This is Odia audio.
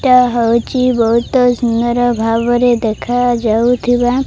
ଏଟା ହଉଚି ବହୁତ ସୁନ୍ଦର ଭାବରେ ଦେଖାଯାଉଥିବା --